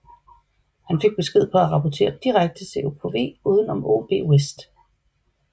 Han fik besked på at rapportere direkte til OKW uden om OB West